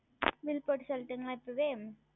Bill போட்டு சொல்லட்டுமா இப்பொழுதே